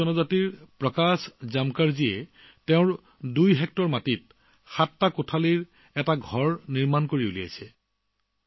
কোৰকু জনগোষ্ঠীৰ বাসিন্দা প্ৰকাশ জামকাৰ জীয়ে নিজৰ দুইহেক্টৰ মাটিত সাতটা কোঠাৰ হোমষ্টে নিৰ্মাণ কৰিছে